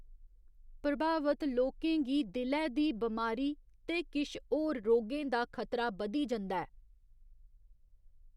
प्रभावत लोकें गी दिलै दी बमारी ते किश होर रोगें दा खतरा बधी जंदा ऐ।